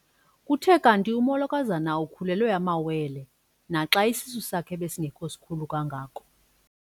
Kuthe kanti umolokazana ukhulelwe amawele naxa isisu sakhe besingesikhulu kangako.